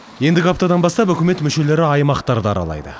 ендігі аптадан бастап үкімет мүшелері аймақтарды аралайды